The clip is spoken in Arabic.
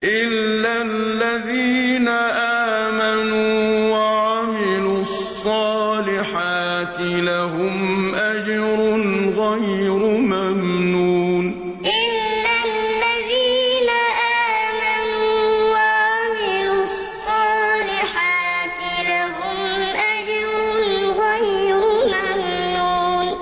إِلَّا الَّذِينَ آمَنُوا وَعَمِلُوا الصَّالِحَاتِ لَهُمْ أَجْرٌ غَيْرُ مَمْنُونٍ إِلَّا الَّذِينَ آمَنُوا وَعَمِلُوا الصَّالِحَاتِ لَهُمْ أَجْرٌ غَيْرُ مَمْنُونٍ